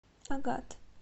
агат